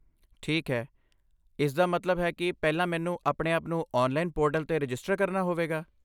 ਠੀਕ ਹੈ! ਇਸਦਾ ਮਤਲਬ ਹੈ ਕਿ ਪਹਿਲਾਂ, ਮੈਨੂੰ ਆਪਣੇ ਆਪ ਨੂੰ ਔਨਲਾਈਨ ਪੋਰਟਲ 'ਤੇ ਰਜਿਸਟਰ ਕਰਨਾ ਹੋਵੇਗਾ।